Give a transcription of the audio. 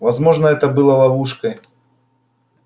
возможно это было ловушкой